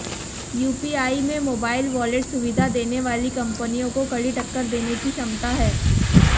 UPI में mobile wallet सुविधा देने वाली कंपनियों को कड़ी टक्कर देने की क्षमता है